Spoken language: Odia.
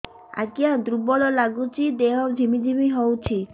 ଆଜ୍ଞା ଦୁର୍ବଳ ଲାଗୁଚି ଦେହ ଝିମଝିମ ହଉଛି